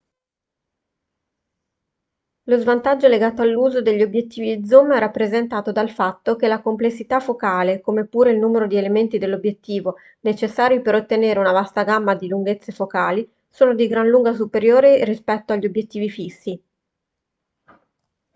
lo svantaggio legato all'uso degli obiettivi zoom è rappresentato dal fatto che la complessità focale come pure il numero di elementi dell'obiettivo necessari per ottenere una vasta gamma di lunghezze focali sono di gran lunga superiori rispetto agli obiettivi fissi